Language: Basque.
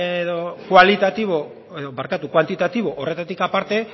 kuantitatibo horretatik aparte